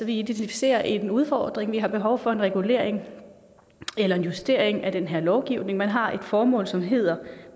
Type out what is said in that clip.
vi identificerer en udfordring vi har behov for en regulering eller en justering af den her lovgivning og man har et formål som hedder